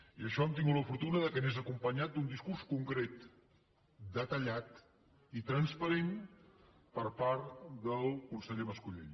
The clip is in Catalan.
i això hem tenim la fortuna que anés acompanyat d’un discurs concret detallat i transparent per part del conseller mas colell